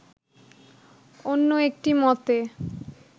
অন্য একটি মতে